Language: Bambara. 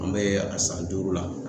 An bɛ a san duuru la.